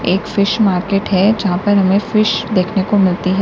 एक fish market है जहां पर हमें फिश देखने को मिलती है।